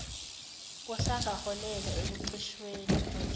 kusangaholela ekucishweni kukagesi